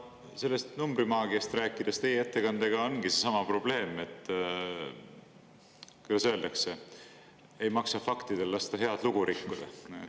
Sellest numbrimaagiast rääkides, teie ettekandega ongi seesama probleem, et, kuidas öeldakse, ei maksa faktidel lasta head lugu rikkuda.